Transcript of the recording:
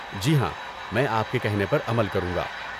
جی ہاں، میں آپ کے کہنے پر عمل کروں گا۔